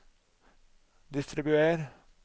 distribuer